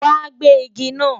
Wàá gé igi náà!